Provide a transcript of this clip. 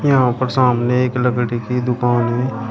यहां पर सामने एक लकड़ी की दुकान है।